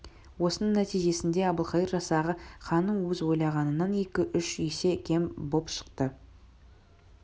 осының нәтижесінде әбілқайыр жасағы ханның өз ойлағанынан екі-үш есе кем боп шықты